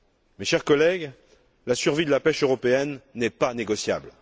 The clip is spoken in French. Mes chers collègues, la survie de la pêche européenne n'est pas négociable.